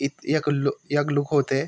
इत यख लु यख लुखों ते --